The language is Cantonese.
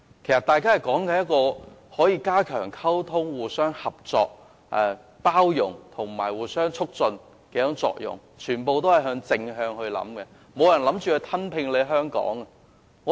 他們的重點是加強溝通、互相合作、包容及發揮互相促進的作用，想法十分正面，沒有人表示打算吞併香港。